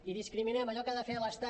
i discriminem allò que ha de fer l’estat